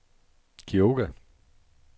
Kioga